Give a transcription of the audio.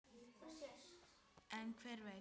En hver veit!